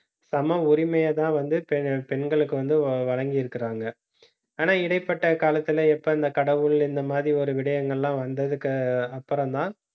சம உரிமையைதான் வந்து பெ~ பெண்களுக்கு வந்து வழங்கி இருக்கிறாங்க. ஆனா, இடைப்பட்ட காலத்துல எப்ப இந்த கடவுள் இந்த மாதிரி ஒரு விடயங்கள்லாம் வந்ததுக்கு அப்புறம்தான்